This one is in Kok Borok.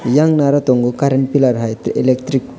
yang naro tongo current pillar hai tai electric.